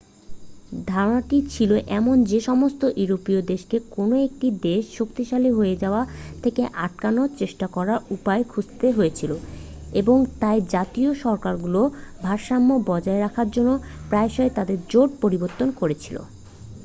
ধারণাটি ছিল এমন যে সমস্ত ইউরোপীয় দেশকে কোনও একটি দেশ শক্তিশালী হয়ে যাওয়া থেকে আটকানোর চেষ্টা করার উপায় খুঁজতে হয়েছিল এবং তাই জাতীয় সরকারগুলো ভারসাম্য বজায় রাখার জন্য প্রায়শই তাদের জোট পরিবর্তন করেছিল